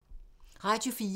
Radio 4